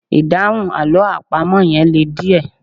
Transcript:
Ìdáhùn àlọ́ àpamọ́ yẹn le díẹ̀